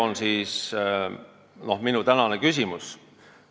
Need on minu tänased küsimused.